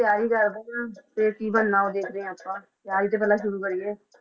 ਤਿਆਰੀ ਕਰਦੇ ਹਾਂ ਫਿਰ ਕੀ ਬਣਨਾ ਉਹ ਦੇਖਦੇ ਹਾਂ ਆਪਾਂ, ਤਿਆਰੀ ਤਾਂ ਪਹਿਲਾਂ ਸ਼ੁਰੂ ਕਰੀਏ।